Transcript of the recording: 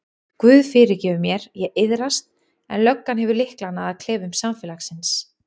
Guð fyrirgefur mér, ég iðrast en löggan hefur lyklana að klefum samfélagsins.